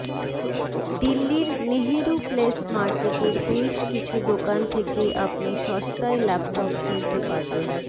দিল্লির নেহেরু প্লেস মার্কেটের বেশ কিছু দোকান থেকে আপনি সস্তায় ল্যাপটপ কিনতে পারবেন